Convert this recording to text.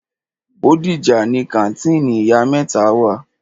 Bódìjà ni kàńtìnì ìyá mẹ́ta wà.